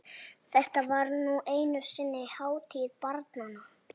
Þetta var nú einu sinni hátíð barnanna!